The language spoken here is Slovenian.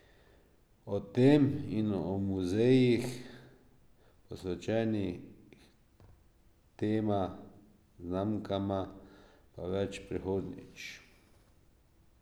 O tem in o muzejih, posvečenih tema znamkama, pa več prihodnjič.